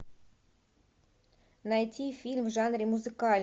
найти фильм в жанре музыкальный